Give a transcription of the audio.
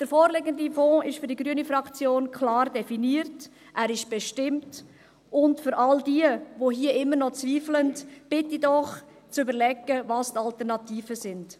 Der vorliegende Fonds ist für die grüne Fraktion klar definiert, er ist bestimmt, und all jene, die hier immer noch zweifeln, bitte ich doch, zu überlegen, welches die Alternativen sind.